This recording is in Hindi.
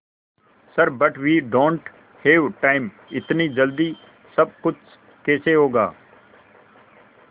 sir but we don't have time इतनी जल्दी सब कुछ कैसे होगा